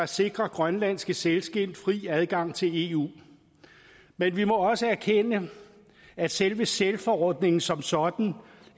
sikrer grønlandske sælskind fri adgang til eu men vi må også erkende at selve sælforordningen som sådan